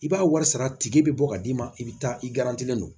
I b'a wari sara tigi bɛ bɔ ka d'i ma i bɛ taa i garantilen don